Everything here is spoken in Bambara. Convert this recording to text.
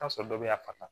sɔrɔ dɔ bɛ yan fa